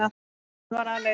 Hann var aleinn.